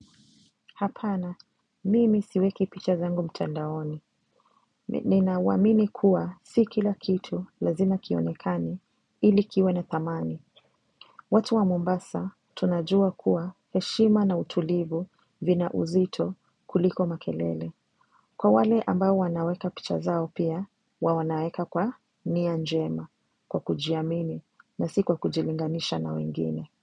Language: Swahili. Hapana, mimi siweki picha zangu mtandaoni. Nina waminikuwa si kila kitu lazima kionekani ilikiwe na thamani. Watu wa Mombasa tunajua kuwa heshima na utulivu vina uzito kuliko makelele. Kwa wale ambao wanaweka picha zao pia, wawanaeka kwa ni anjema kwa kujiamini na sikuwa kujilinganisha na wengine.